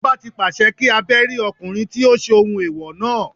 Ọba tí pàṣẹ kí a Bẹ́rí ọkùnrin tí ó ṣohun ẹ̀wọ̀ náà.